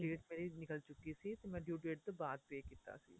date ਮੇਰੀ ਨਿਕਲ ਚੁੱਕੀ ਸੀ ਤੇ ਮੈਂ due date ਤੋਂ ਬਾਅਦ pay ਕੀਤਾ ਸੀ